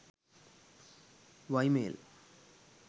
ymail